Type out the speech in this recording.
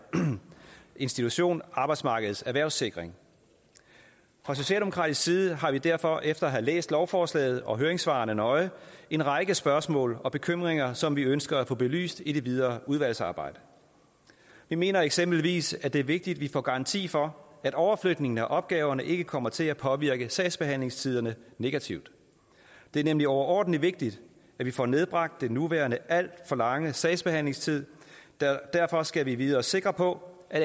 institution arbejdsmarkedets erhvervssikring fra socialdemokratisk side har vi derfor efter at have læst lovforslaget og høringssvarene nøje en række spørgsmål og bekymringer som vi ønsker at få belyst i det videre udvalgsarbejde vi mener eksempelvis det er vigtigt at vi får garanti for at overflytningen af opgaverne ikke kommer til at påvirke sagsbehandlingstiderne negativt det er nemlig overordentlig vigtigt at vi får nedbragt den nuværende alt for lange sagsbehandlingstid derfor skal vi vide os sikre på at